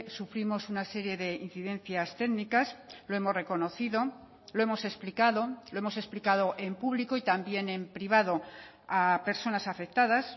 sufrimos una serie de incidencias técnicas lo hemos reconocido lo hemos explicado lo hemos explicado en público y también en privado a personas afectadas